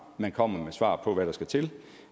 og kommer med svar på hvad der skal til